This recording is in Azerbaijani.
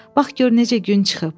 Bax gör necə gün çıxıb.